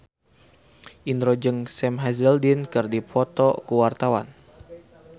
Indro jeung Sam Hazeldine keur dipoto ku wartawan